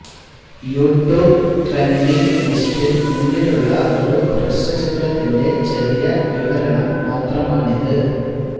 YouTube trending ലിസ്റ്റില് മുന്നിലുള്ള ഒരു ഹ്രസ്വചിത്രത്തിന്റെ ചെറിയ വിവരണം മാത്രമാണിത്